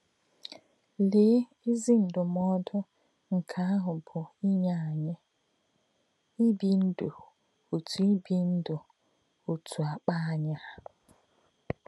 Lè̄ ézì ndụ̀mòdù̄ nké̄ àhụ̄ bụ́ n’yé̄ ànyí̄ — ìbí̄ ndú̄ ọ́tụ́ ìbí̄ ndú̄ ọ́tụ́ àkpà̄ ànyí̄ hà̄.